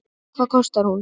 Hvað kostar hún?